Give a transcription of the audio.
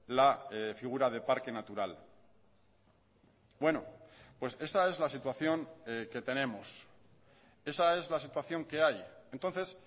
la figura de parque natural bueno pues esta es la situación que tenemos esa es la situación que hay entonces